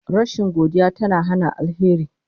Rashin godiya tana hana alheri